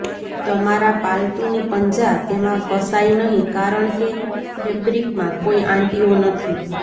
તમારા પાલતુની પંજા તેમાં ફસાઈ નહીં કારણ કે ફેબ્રિકમાં કોઈ આંટીઓ નથી